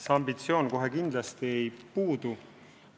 See ambitsioon kohe kindlasti ei puudu.